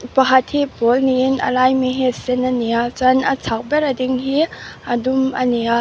pakhat hi a pawl niin a lai ami hi a sen a ni a chuan a chhak ber a ding hi a dum a ni a.